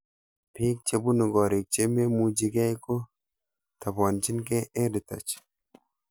Pik chepunu korik che maimuchikei ko tabanchikei EdTech